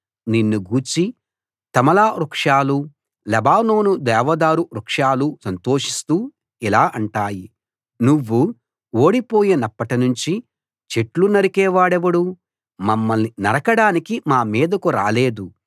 నిన్ను గూర్చి తమాల వృక్షాలు లెబానోను దేవదారు వృక్షాలు సంతోషిస్తూ ఇలా అంటాయి నువ్వు ఓడిపోయినప్పట్నుంచి చెట్లు నరికే వాడెవడూ మమ్మల్ని నరకడానికి మా మీదకు రాలేదు